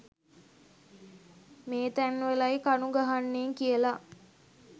මේ තැන්වලයි කණු ගහන්නේ කියලා